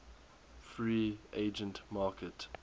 free agent market